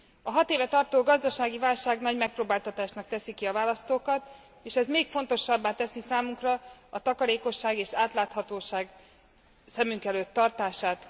A hat éve tartó gazdasági válság nagy megpróbáltatásnak teszi ki a választókat, és ez még fontosabbá teszi számunkra a takarékosság és átláthatóság szem előtt tartását.